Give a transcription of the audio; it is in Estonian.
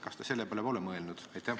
Kas te selle peale pole mõelnud?